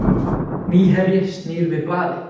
Nýherji snýr við blaði